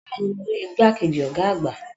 Bẹ́ẹ̀ni, mo rí igbàkejì ọ̀gá àgbà.